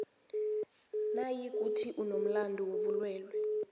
nayikuthi unomlando wobulwelwe